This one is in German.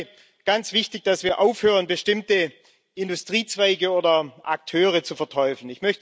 Mir ist dabei ganz wichtig, dass wir aufhören, bestimmte Industriezweige oder Akteure zu verteufeln.